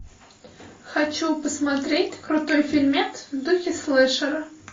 хочу посмотреть крутой фильмец в духе слэшера